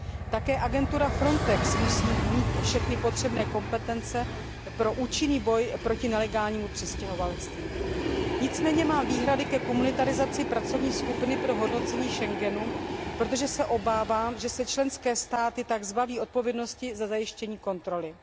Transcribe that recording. Také agentura FRONTEX musí mít všechny potřebné kompetence pro účinný boj proti nelegálnímu přistěhovalectví. Nicméně mám výhrady ke komunitarizaci pracovní skupiny pro hodnocení Schengenu, protože se obávám, že se tak členské státy zbaví odpovědnosti za zajištění kontroly.